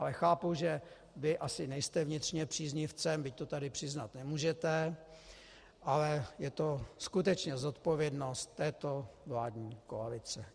Ale chápu, že vy asi nejste vnitřně příznivcem, byť to tady přiznat nemůžete, ale je to skutečně zodpovědnost této vládní koalice.